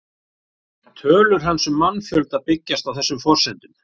Tölur hans um mannfjölda byggjast á þessum forsendum.